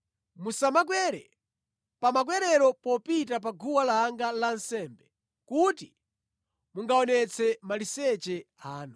Musamakwere pa makwerero popita pa guwa langa lansembe kuti mungaonetse maliseche anu.